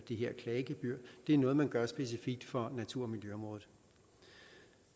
det her klagegebyr det er noget man gør specifikt for natur og miljøområdet